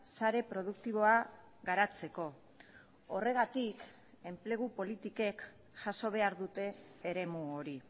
sare produktiboa garatzeko horregatik enplegu politikek jaso behar dute eremu hori